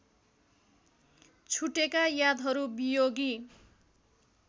छुटेका यादहरू वियोगी